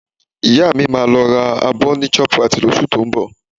Ìyá mi máa lọ ra abọ ní Shoprite lóṣù tó ń bọ̀